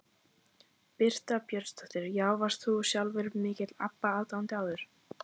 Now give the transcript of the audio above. Birta Björnsdóttir: Já, varst þú sjálfur mikill Abba aðdáandi áður?